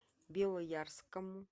белоярскому